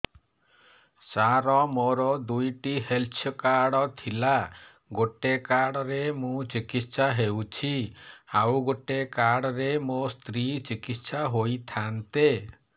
ସାର ମୋର ଦୁଇଟି health card ଥିଲା ଗୋଟେ କାର୍ଡ ରେ ମୁଁ ଚିକିତ୍ସା ହେଉଛି ଆଉ ଗୋଟେ କାର୍ଡ ରେ ମୋ ସ୍ତ୍ରୀ ଚିକିତ୍ସା ହୋଇଥାନ୍ତେ